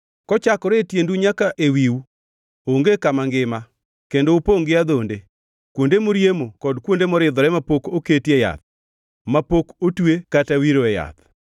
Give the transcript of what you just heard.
Kochakore e tiendu nyaka ewiu onge kama ngima, kendo upongʼ gi adhonde, kuonde moriemo, kod kuonde moridhore mapok oketie yath, mapok otwe kata wiroe yath.